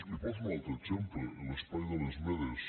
li poso un altre exemple l’espai de les medes